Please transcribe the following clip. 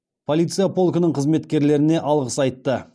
полиция полкінің қызметкерлеріне алғыс айтты